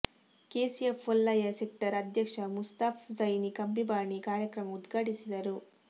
KCF Olayya sector ಅಧ್ಯಕ್ಷ ಮುಸ್ತಫಾ ಝೈನಿ ಕಂಬಿಬಾಣೆ ಕಾರ್ಯಕ್ರಮ ಉದ್ಘಾಟಿಸಿದರು